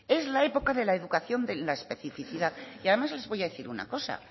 es la época de la educación de la especificidad y además les voy a decir una cosa